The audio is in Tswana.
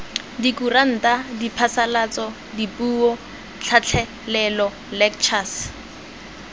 dikuranta diphasalatso dipuo tlhatlhelelo lectures